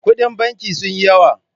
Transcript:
Kuɗin banki sun yi yawa.